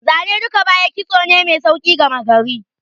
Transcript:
Zane duk baya, kitso ne mai sauƙi gama gari.